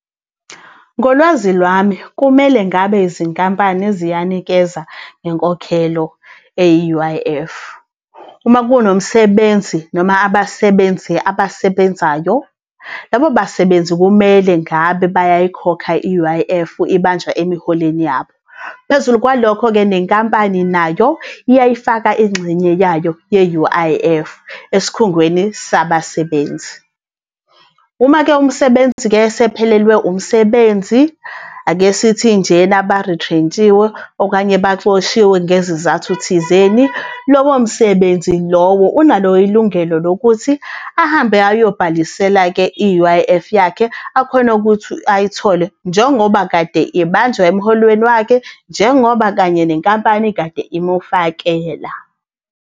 Ngolwazi lwami kumele ngabe izinkampani ziyanikeza ngenkokhelo eyi-U_I_F. Uma kunomsebenzi noma abasebenzi abasebenzayo, labo basebenzi kumele ngabe bayayikhokha i-U_I_F, ibanjwa emiholweni yabo. Phezulu kwalokho-ke nenkampani nayo iyayifaka ingxenye yayo ye-U_I_F esikhungweni sabasebenzi. Uma-ke umsebenzi-ke esephelelwe umsebenzi, akesithi njena barithrentshiwe, okanye baxoshiwe ngezizathu thizeni, lowo msebenzi lowo unalo ilungelo lokuthi ahambe ayobhalisela-ke i-U_I_F yakhe akhone ukuthi ayithole njengoba kade ibanjwa emholweni wakhe, njengoba kanye nenkampani kade imufakela.